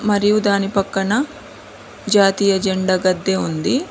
మరియు దాని పక్కన జాతీయ జెండా గద్దె ఉంది.